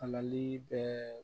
Mali bɛ